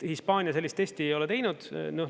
Hispaania sellist testi ei ole teinud.